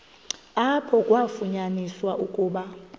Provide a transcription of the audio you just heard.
apho kwafunyaniswa ukuba